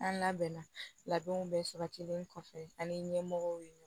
An labɛnna labɛnw bɛɛ sabatilen kɔfɛ ani ɲɛmɔgɔw ye